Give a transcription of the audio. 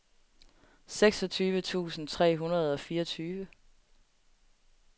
seksogtyve tusind tre hundrede og fireogtyve